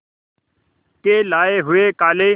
के लाए हुए काले